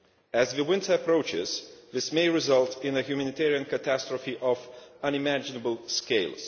As the winter approaches, this may result in a humanitarian catastrophe on an unimaginable scale.